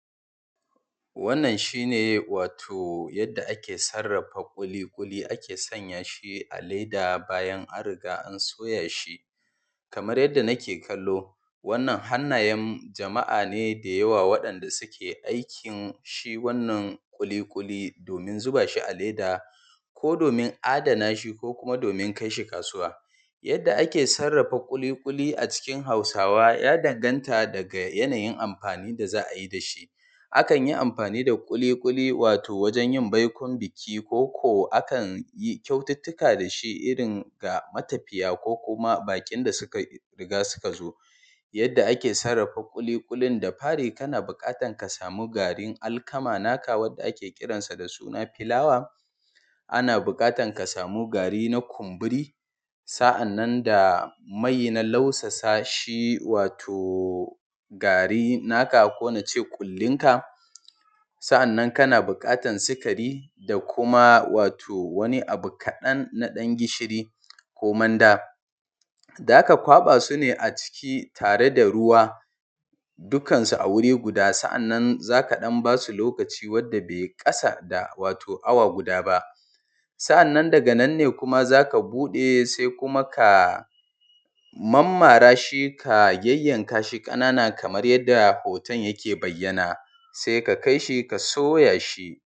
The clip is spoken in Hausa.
Wannan shine wato yadda ake sarrafa ƙuli-ƙuli ake sanya shi a leda bayan an riga an soya shi. Kamar yadda nake kallo wannan hannayam jama'a ne da yawa waɗan da suke aikin shi wannan ƙuli-ƙuli domin zuba shi a leda, ko domin adana shi, ko kuma domin kai shi kasuwa. Yadda ake sarrafa ƙuli-ƙuli a cikin hausawa ya danganta daga yanayin amfani da za ayi da shi. A kan yi amfani da ƙuli-ƙuli wato wajan yin baikon biki, koko a kan yi kyaututtuka dashi irin ga matafiya, ko kuma baƙin da suka riga suka zo. Yadda ake sarrafa ƙuli-ƙulin, da fari kana buƙatan ka sami garin alkama naka wadda ake kiransa da suna filawa, ana buƙatan ka samu gari na kumburi, sa'annan daa mai na lausasa shi wato gari na ka, ko nace ƙullin ka. Sa'annan kana buƙatan sikari da kuma wato wani abu kaɗan na ɗan gishiri ko manda. Daka kwaɓa su ne a ciki tare da ruwa dukkansu a wuri guda, sa'annan zaka ɗan basu lokaci wanda be ƙasa da wato awa guda ba. Sa'annan daga nan ne kuma zaka buɗe, se kuma ka um mammara shi, ka yayyan kashi ƙanana kamar yadda hoton yake bayyana, saika kaishi ka soya shi.